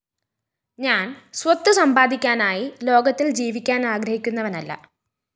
ഞാന്‍സ്വത്ത് സമ്പാദിക്കാനായി ലോകത്തില്‍ ജീവിക്കാന്‍ ആഗ്രഹിക്കുന്നവനല്ല